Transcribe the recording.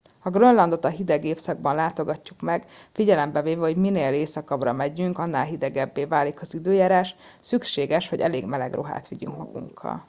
ha grönlandot a hideg évszakban látogatjuk meg figyelembe véve hogy minél északabbra megyünk annál hidegebbé válik az időjárás szükséges hogy elég meleg ruhát vigyünk magunkkal